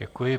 Děkuji.